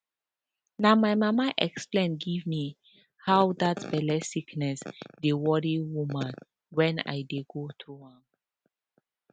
na my mama explain give me how that belle sickness dey worry woman when i dey go through am